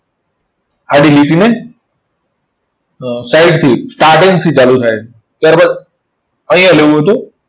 આડી લીટીને અર side થી starting થી ચાલુ થાય. ત્યાર બાદ અહીંયા લેવું હોય તો